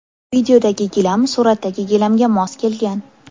Videodagi gilam suratdagi gilamga mos kelgan.